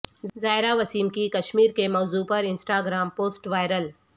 زائرہ وسیم کی کشمیر کے موضوع پر انسٹا گرام پوسٹ وائرل